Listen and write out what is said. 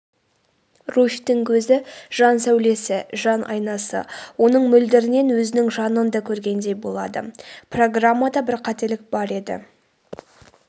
руфьтің көзі жан сәулесі жан айнасы оның мөлдірінен өзінің жанын да көргендей болады.программада бір қателік бар деді